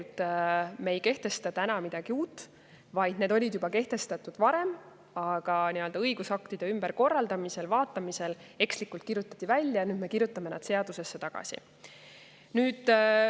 Ehk siis me ei kehtesta täna midagi uut, vaid need olid kehtestatud juba varem, aga õigusaktide ümberkorraldamisel ja ‑vaatamisel kirjutati need ekslikult välja ja nüüd me kirjutame need seadusesse tagasi.